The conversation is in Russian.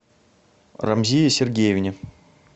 рамзие сергеевне